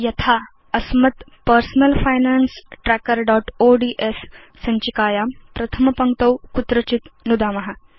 यथा अस्मत् personal finance trackerओड्स् सञ्चिकायां प्रथम पङ्क्तौ कुत्रचित् नुदाम